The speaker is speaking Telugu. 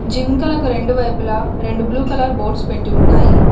జింకలకు రెండు వైపులా రెండు బ్లూ కలర్ బోర్డ్స్ పెట్టి ఉన్నాయి.